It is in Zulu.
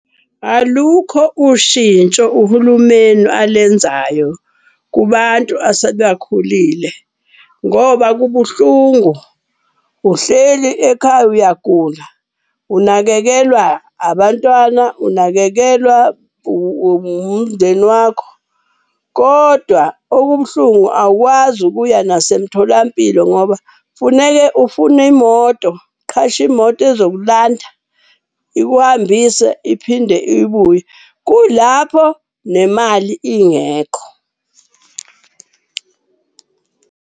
Alukho ushintsho uhulumeni alenzayo kubantu . Ngoba kubuhlungu uhleli ekhaya uyagula, unakekelwa abantwana, unakekelwa umndeni wakho. Kodwa okubuhlungu awukwazi ukuya nasemtholampilo ngoba funeke ufune imoto. Uqhashe imoto ezokulanda, ikuhambise, iphinde ibuye. Kuyilapho nemali ingekho.